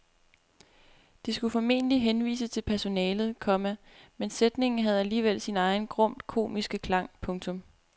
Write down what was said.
Det skulle formentlig henvise til personalet, komma men sætningen havde alligevel sin egen grumt komiske klang. punktum